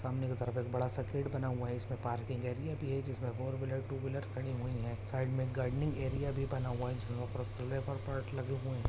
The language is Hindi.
सामने के तरफ एक बड़ा सा गेट बना हुआ है इसमें पार्किंग एरिया भी है जिसमें फोर व्हीलर टू व्हीलर खड़ी हुई है साइड में गार्डनिंग एरिया भी बना हुआ है जिसमें पिअर और पोट लगे हुए हैं।